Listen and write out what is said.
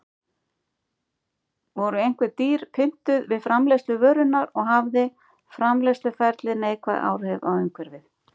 Voru einhver dýr pyntuð við framleiðslu vörunnar og hafði framleiðsluferlið neikvæð áhrif á umhverfið?